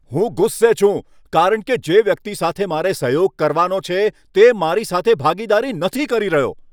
હું ગુસ્સે છું કારણ કે જે વ્યક્તિ સાથે મારે સહયોગ કરવાનો છે, તે મારી સાથે ભાગીદારી નથી કરી રહ્યો.